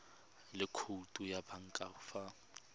le khoutu ya banka fa